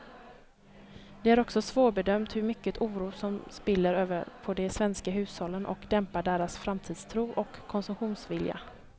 Det är också svårbedömt hur mycket oro som spiller över på de svenska hushållen och dämpar deras framtidstro och konsumtionsvilja.